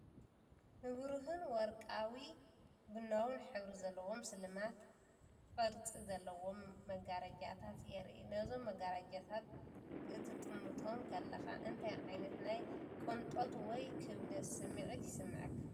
ንብሩህን ወርቃዊ ቡናዊን ሕብሪ ዘለዎም ስልማት ቅርጺ ዘለዎም መጋረጃታት የርኢ። ነዞም መጋረጃታት ክትጥምቶም ከለኻ እንታይ ዓይነት ናይ ቅንጦት ወይ ክብደት ስምዒት ይስምዓካ?